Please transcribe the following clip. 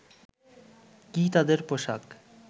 কী তাদের পোশাক